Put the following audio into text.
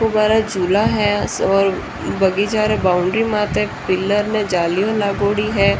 वो हमारा चुला है और बगीचा रा में बाउन्डरी मते पिलर में जाली लागोड़ी है।